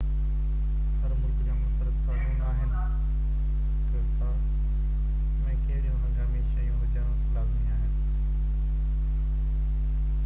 هر ملڪ جا منفرد قانون آهن ته ڪار ۾ ڪهڙيون هنگامي شيون هجڻ لازمي آهن